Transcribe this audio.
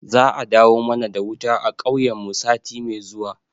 Za a dawo mana da wuta a kauyen mu sati mai zuwa